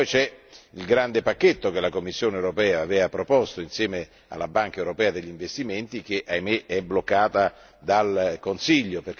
C'è inoltre il grande pacchetto che la Commissione europea aveva proposto insieme alla Banca europea per gli investimenti, che purtroppo è bloccato dal Consiglio.